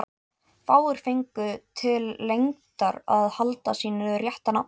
Fáir fengu til lengdar að halda sínu rétta nafni.